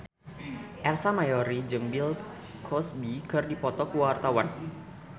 Ersa Mayori jeung Bill Cosby keur dipoto ku wartawan